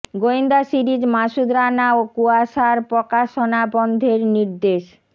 গোয়েন্দা সিরিজ মাসুদ রানা ও কুয়াশার প্রকাশনা বন্ধের নির্দেশ